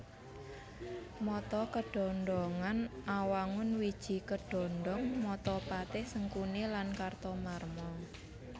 Mata kedhondhongan Awangun wiji kedhondhong mata Patih Sengkuni lan Kartamarma